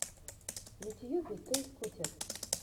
в ютьюбе той скутер